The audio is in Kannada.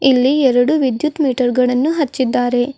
ಇಲ್ಲಿ ಎರಡು ವಿದ್ಯುತ್ ಮೀಟರ್ ಗಳನ್ನು ಹಚ್ಚಿದ್ದಾರೆ.